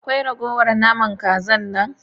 Akwai ragowar naman Kazar nan?